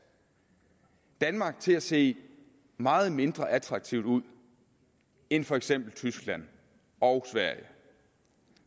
danmark til at se meget mindre attraktiv ud end for eksempel tyskland og sverige